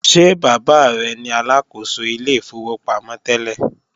Ṣé bàbá rẹ ni Aláàkóso ilé ìfowópamọ́ tẹ́lẹ̀?